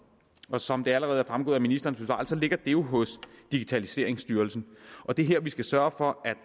og som det allerede er fremgået af ministerens besvarelse ligger det jo hos digitaliseringsstyrelsen og det er her vi skal sørge for at